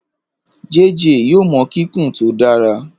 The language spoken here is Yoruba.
JayJay yoo mọ kikun to dara.